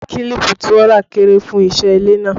Kílípù tí wọ́n rà kéré fún iṣẹ́ ilé náà